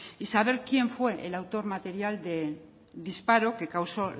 y saber quién fue el autor material del disparo que causo